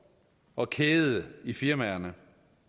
og kæde i firmaerne